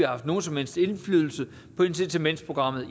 haft nogen som helst indflydelse på incitamentsprogrammet